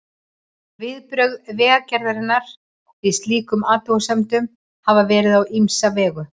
Viðbrögð Vegagerðarinnar við slíkum athugasemdum hafa verið á ýmsa vegu.